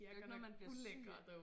Det er ikke noget man bliver syg af